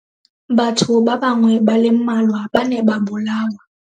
Batho ba bangwe ba le mmalwa ba ne ba bolawa.